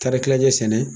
Taari kilancɛ sɛnɛ